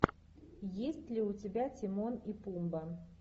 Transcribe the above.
есть ли у тебя тимон и пумба